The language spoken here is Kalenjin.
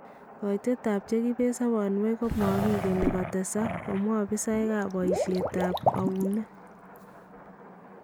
Kaitet ab chekibeet sobonweek komakigeni kotesaak , kamwaa opisaekab boyishet ab awuneet